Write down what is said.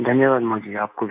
धन्यवाद मोदी जी आपको भी